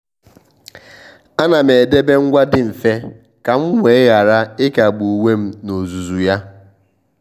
à nà m edèbè ngwa dị mfe kà m wee ghara ị́kágbù uwe m n’ózùzù yá.